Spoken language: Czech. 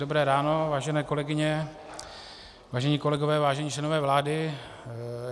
Dobré ráno, vážené kolegyně, vážení kolegové, vážení členové vlády.